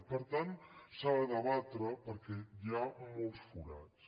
i per tant s’ha de debatre perquè hi ha molts forats